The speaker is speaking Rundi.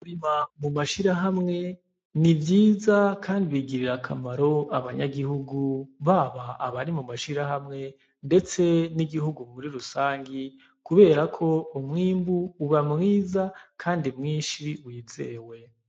Kurima mu mashirahamwe ni vyiza kandi bigirira akamaro abanyagihugu baba abari mu mashirahawe ndetse n'igihugu muri rusangi kubera ko umwimbu uba mwiza kandi mwinshi wizewe.